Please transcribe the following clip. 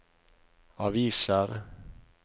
aviser